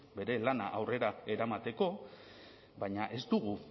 bere lana aurrera eramateko baina ez dugu